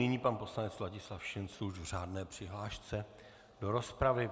Nyní pan poslanec Ladislav Šincl už v řádné přihlášce do rozpravy.